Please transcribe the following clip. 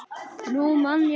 Nú man ég það!